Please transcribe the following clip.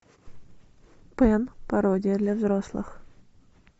пэн пародия для взрослых